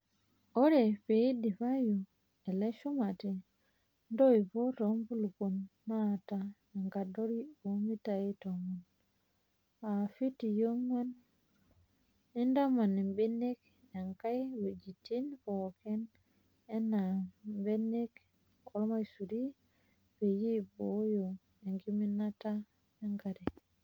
Ore peyie eidipayu ele shumati ntoipoi tenkulupuon naata enkadori omitai tomon (fitii ong'an ) nintaman imbenek enkae ngwejitin pooki enaa mbenek ormaisuri peyie eibooyo enkiminata enkare .